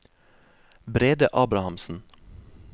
Brede Abrahamsen